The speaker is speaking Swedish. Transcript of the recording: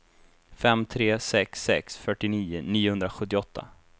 fem tre sex sex fyrtionio niohundrasjuttioåtta